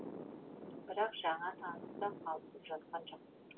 бірақ жаңа танысы да қалысып жатқан жоқ